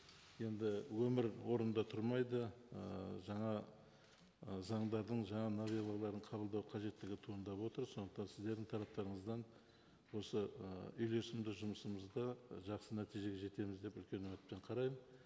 енді өмір орында тұрмайды ы жаңа ы заңдардың жаңа новеллаларын қабылдау қажеттігі туындап отыр сондықтан сіздердің тараптарыңыздан осы ы үйлесімді жұмысымызды жақсы нәтижеге жетеміз деп үлкен үмітпен қараймын